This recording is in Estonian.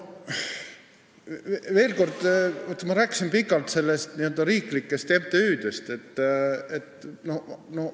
Veel kord: ma rääkisin pikalt riiklikest MTÜ-dest.